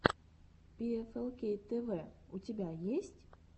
пиэфэлкей тэвэ у тебя есть